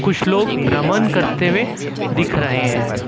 कुछ लोग भ्रमण करते हुए दिख रहे हैं।